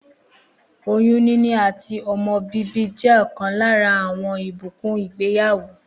Oyún níní àti o̩mo̩ bíbí jé̩ ò̩kan lára àwo̩n ìbùkún ìgbéyàwó